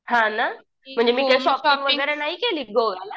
हां नं म्हणजे मी काय शॉपिंग वगैरे नाही केले गोव्याला